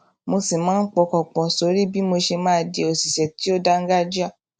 mo sì máa ń pọkàn pò sórí bí mo ṣe máa di òṣìṣé tó dáńgájíá